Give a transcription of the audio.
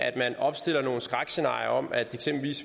at man opstiller nogle skrækscenarier om at